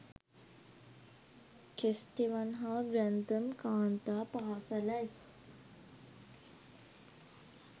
Kesteven හා Grantham කාන්තා පාසැලයි